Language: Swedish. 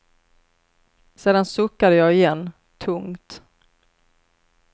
Sedan suckade jag igen, tungt.